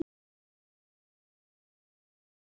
Ollý, hvað er jörðin stór?